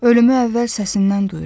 Ölümü əvvəl səsindən duyuram.